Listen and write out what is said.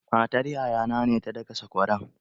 Matar yaya na ce ta daka sakwaran.